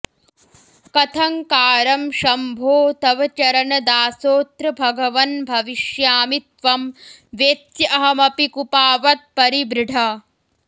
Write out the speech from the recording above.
कथङ्कारं शम्भो तव चरणदासोऽत्र भगवन् भविष्यामि त्वं वेत्स्यहमपि कुपावत्परिबृढ